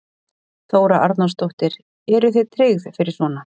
Þóra Arnórsdóttir: Eru þið tryggð fyrir svona?